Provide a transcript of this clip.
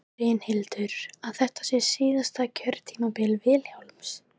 Brynhildur: Að þetta sé síðasta kjörtímabil Vilhjálms?